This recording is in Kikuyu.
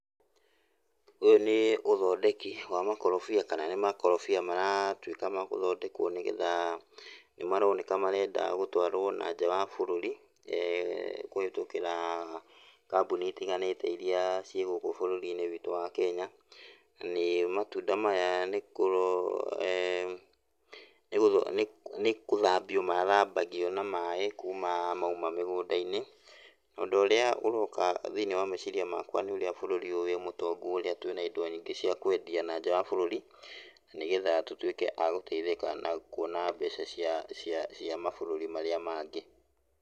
Ũyũ nĩ ũthondeki wa makorobia, kana nĩ makorobia maratuĩka magũthondekwo nĩgetha, nĩmaroneka marenda gũtwarwo nanja wa bũrũri kũhĩtũkĩra kambuni itiganĩte ĩrĩa ciĩ gũkũ bũrũri-inĩ witũ wa Kenya. Nanĩ matunda maya nĩkũro, nĩgũtho, nĩkũ, nĩkũthambio mathambagio na maaĩ kuuma mauma mĩgũnda-inĩ. Nondũ ũrĩa ũroka thĩiniĩ wa meciria makwa nĩ ũrĩa bũrũri ũyũ wĩ mũtongu ũrĩa twĩna indo nyingĩ cia kwendia nanja wa bũrũri, na nĩgetha tũtuĩke a gũteithĩka na kũona mbeca cia, cia, cia mabũrũri marĩa mangĩ.